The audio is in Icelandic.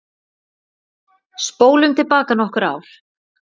Spólum til baka nokkur ár.